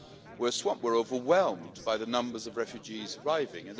we're swamped we're overwhelmed by the numbers of refugees arriving'.